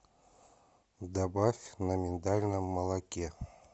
добавь на миндальном молоке